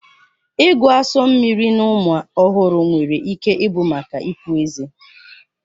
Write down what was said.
Ịgụ asu mmiri na ụmụ ọhụrụ nwere ike ịbụ maka ịpụ ezé